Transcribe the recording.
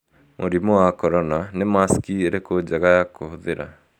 Mũrimũ wa Korona : Nĩ Masiki ĩrĩkũ jĩega ya kũhũthĩra?